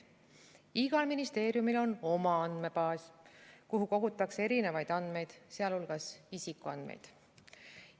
Igal ministeeriumil on oma andmebaas, kuhu kogutakse erinevaid andmeid, sh isikuandmeid.